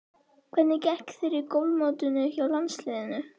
Hvernig gekk þér í golfmótinu hjá landsliðinu?